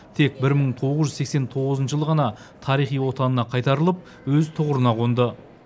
тек бір мың тоғыз жүз сексен тоғызыншы жылы ғана тарихи отанына қайтарылып өз тұғырына қонды